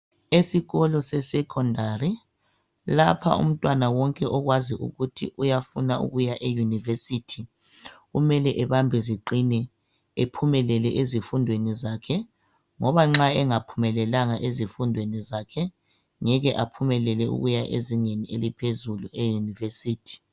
esikolo sesecondary lapha umntwan wonke okwazi ukuthi uyafuna ukuya e university kumele ebambe ziqine ephumelele ezifundweni zakhe ngoba nxa engaphumelelanga ezifundweni zakhe ngeke aphumelele ukuya ezingeni eliphezulu e univesity